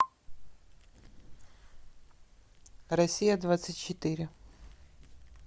россия двадцать четыре